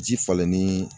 Ji falenni